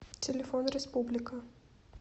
телефон республика